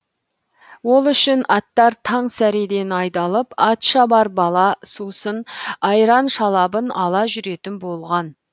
ол үшін аттар таң сәреден айдалып ат шабар бала сусын айран шалабын ала жүретін болған